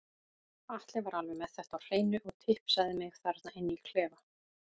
Atli var alveg með þetta á hreinu og tipsaði mig þarna inni í klefa.